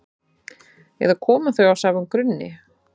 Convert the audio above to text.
eða koma þau af sama grunni